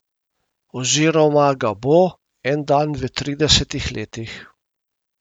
Oziroma ga bo, en dan v tridesetih letih.